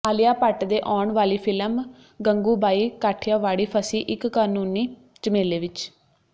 ਆਲੀਆ ਭੱਟ ਦੇ ਆਉਣ ਵਾਲੀ ਫ਼ਿਲਮ ਗੰਗੂਬਾਈ ਕਾਠਿਆਵਾੜੀ ਫਸੀ ਇਕ ਕਾਨੂੰਨੀ ਝਮੇਲੇ ਵਿੱਚ